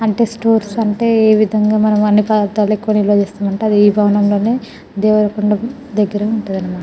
అంటే స్టోర్స్ అంటే అ విధము గ మనకు అన్ని ప్రాంతాలకు కొని నిల్వచేస్తాం అనమాట అది భవనము లోనే దేవర కొండ కి దగ్గరే ఉంటది అనమాట.